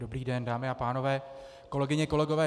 Dobrý den, dámy a pánové, kolegyně, kolegové.